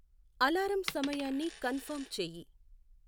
alarm సమయాన్ని confirm చేయి